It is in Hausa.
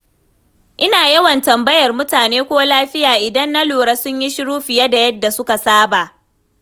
Ina yawan tambayar mutane ko lafiya idan na lura sun yi shiru fiye da yadda suka saba.